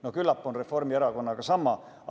No küllap on Reformierakonnaga sama.